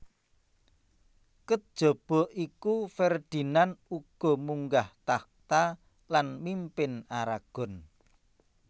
Kejaba iku Ferdinand uga munggah tahta lan mimpin Aragon